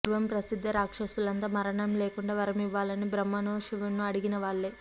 పూర్వం ప్రసిద్ధ రాక్షసులంతా మరణం లేకుండా వరమివ్వాలని బ్రహ్మనో శివుణ్ణో అడిగిన వాళ్లే